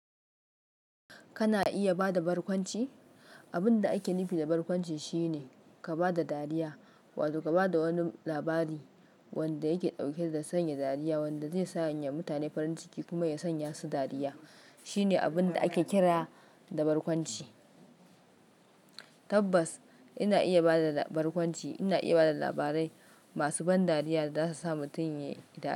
Kana iya bada barkwanci? Abun da ake nufi da barkwanci shine ka bada dariya wato ka bada wani labari wanda yake ɗauke da sanya dariya, wanda zai sanya mutane farin ciki kuma ya sanya su dariya. Shine abin da ake kira da barkwanci. Tabbas, ina iya bada barkwanci. Ina iya bada labarai masu ban dariya da zasu sa mutum ya yi dariya.